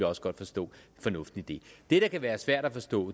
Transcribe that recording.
også godt forstå fornuften i det det der kan være svært at forstå